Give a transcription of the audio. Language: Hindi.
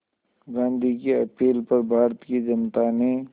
गांधी की अपील पर भारत की जनता ने